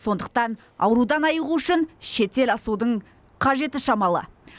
сондықтан аурудан айығу үшін шетел асудың қажеті шамалы